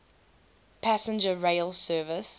passenger rail service